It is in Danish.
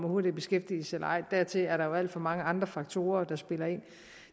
hurtigt i beskæftigelse eller ej dertil er der jo alt for mange andre faktorer der spiller ind